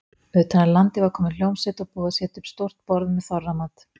Utan af landi var komin hljómsveit og búið að setja upp stórt borð með þorramat.